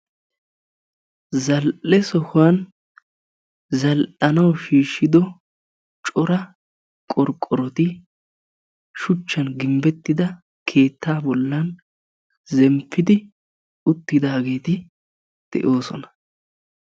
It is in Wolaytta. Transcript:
zal'e sohuwan zal'anawu shiishshido cora qorqqoroti shuchchan gimbettida keettaa bollan zemppidi uttidaageti de'oosona.